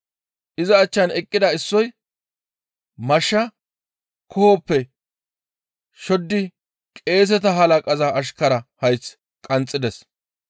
Iza achchan eqqida issoy mashsha koohoppe shoddi qeeseta halaqaza ashkara hayth qanxxides.